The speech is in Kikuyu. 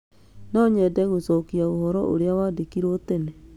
No nyende gũcokia ũhoro ũrĩa wandĩkĩirũo tene.